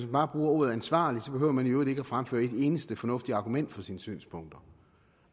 bare bruger ordet ansvarlig behøver man i øvrigt ikke at fremføre et eneste fornuftigt argument for sine synspunkter